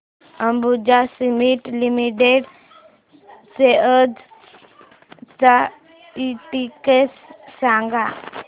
Ambuja cement limited shares चा index सांगा